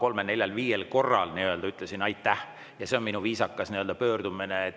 Ma arvan, et ma vähemalt kolmel-neljal-viiel korral ütlesin "Aitäh!", ja see on minu viisakas pöördumine.